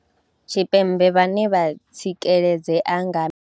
Tshipembe vhane vho tsikeledzea nga.